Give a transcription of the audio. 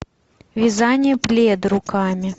вязание пледа руками